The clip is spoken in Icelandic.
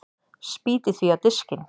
Spýti því á diskinn.